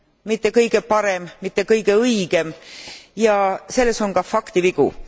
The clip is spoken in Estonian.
mitte kõige parem, mitte kõige õigem ja selles on ka faktivigu.